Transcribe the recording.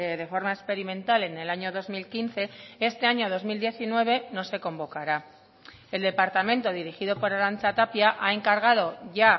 de forma experimental en el año dos mil quince este año dos mil diecinueve no se convocará el departamento dirigido por arantxa tapia ha encargado ya